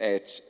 at